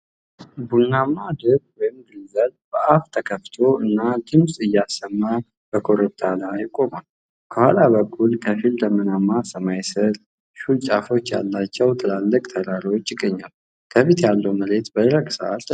ቡናማው ድብ (ግሪዝሊ) በአፉ ተከፍቶ እና ድምጽ እያሰማ በኮረብታ ላይ ቆሟል። ከኋላ በኩል፣ ከፊል ደመናማ ሰማይ ስር፣ ሹል ጫፎች ያላቸው ትላልቅ ተራሮች ይገኛሉ፤ ከፊት ያለው መሬት በደረቀ ሣር ተሸፍኗል።